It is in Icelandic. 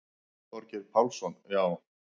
Þorgeir Pálsson: Já.